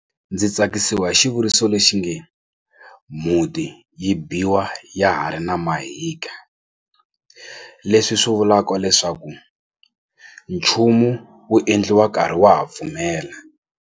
Ndzi tsakisiwa hi xivuriso lexinge mhuti yi biwa ya ha ri na mahika leswi swi vulaka leswaku nchumu wu endliwa nkarhi wa ha pfumela.